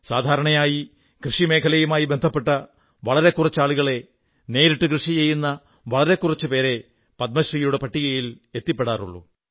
സാധാരണയായി കൃഷി മേഖലയുമായി ബന്ധപ്പെട്ട വളരെ കുറച്ച് ആളുകളേ നേരിട്ടു കൃഷി ചെയ്യുന്ന വളരെ കുറച്ചുപേരേ പത്മശ്രീയുടെ പട്ടികയിൽ എത്തിയിട്ടുള്ളൂ